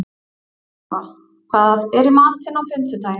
Ylfa, hvað er í matinn á fimmtudaginn?